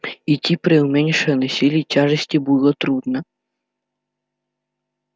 идти при уменьшенной силе тяжести было трудно